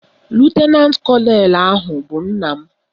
Lutenantị kọnelụ ahụ bụ nna m